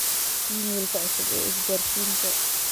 iimaylka cusub ee isgaarsiinta